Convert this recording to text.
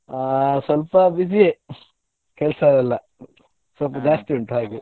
ಆ ಸ್ವಲ್ಪ busy ಯೇ ಕೆಲ್ಸವೆಲ್ಲ ಸ್ವಲ್ಪ ಜಾಸ್ತಿ ಉಂಟು ಹಾಗೆ .